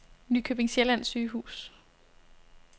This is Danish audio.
Nykøbing Sjælland Sygehus